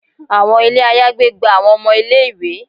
Àwọn ilé àyágbé gba àwọn ọmọ ilé-ìwé